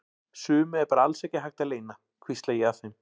Sumu er bara alls ekki hægt að leyna, hvísla ég að þeim.